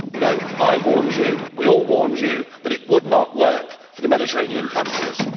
You know I warned you, we all warned you, that it would not work for the Mediterranean countries.